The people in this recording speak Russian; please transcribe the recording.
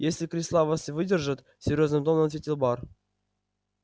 если кресла вас выдержат серьёзным тоном ответил бар